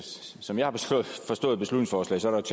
som jeg har forstået beslutningsforslaget